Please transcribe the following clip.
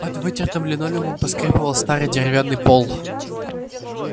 под вытертым линолеумом поскрипывал старый деревянный пол